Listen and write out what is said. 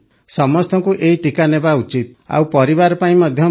ସମସ୍ତଙ୍କୁ ଏହି ଟିକା ନେବା ଉଚିତ ଆଉ ପରିବାର ପାଇଁ ମଧ୍ୟ ଭଲ